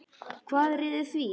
Hvað réði því?